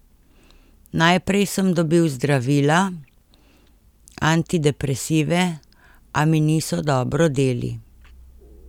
Najprej sem dobil zdravila, antidepresive, a mi niso dobro deli.